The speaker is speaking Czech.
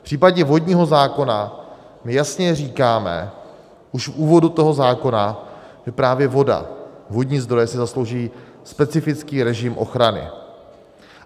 V případě vodního zákona my jasně říkáme už v úvodu toho zákona, že právě voda, vodní zdroje si zaslouží specifický režim ochrany.